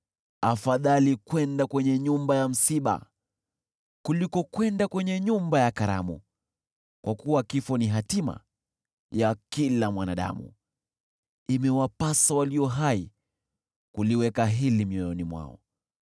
Afadhali kwenda kwenye nyumba ya msiba kuliko kwenda kwenye nyumba ya karamu, kwa kuwa kifo ni hatima ya kila mwanadamu, imewapasa walio hai kuliweka hili mioyoni mwao.